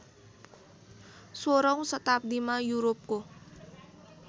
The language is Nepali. सोह्रौँ शताब्दीमा युरोपको